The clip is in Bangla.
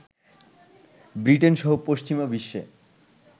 ব্রিটেন সহ পশ্চিমা বিশ্বে